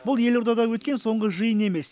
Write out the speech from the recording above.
бұл елордада өткен соңғы жиын емес